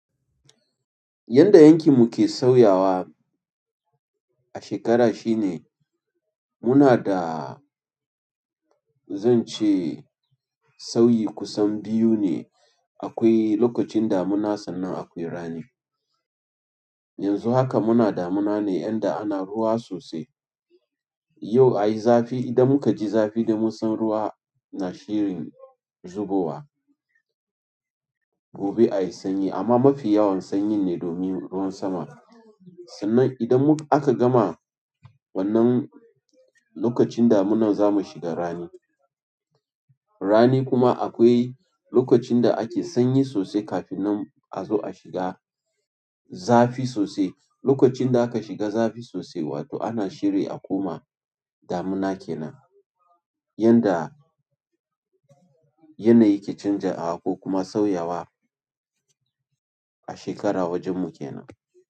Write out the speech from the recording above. Yanda yankin mu ke sauyawa a shekara shine muna da zan ce sauyi kusan biyu ne. Akwai lokacin damuna sannan akwai rani. Yanzu haka muna damuna ne yanda ana ruwa sosai. Yau a yi zafi. Idan muka ji zafi da mun san ruwa na shirin zubowa. Gobe a yi sanyi amma mafi yawan sanyin ne domin ruwan sama. Talla idan aka gama. Wannan lokacin damunan zamu shiga rani. Rani kuma akwai lokacin da ake sanyi sosai kafin nan a zo a shiga zafi sosai. Lokacin da aka shiga zafi sosai, wato ana shiri a koma damuna kenan. Yanda yanayi ke canjawa ko kuma sauyawa a shekara wajen mu kenan.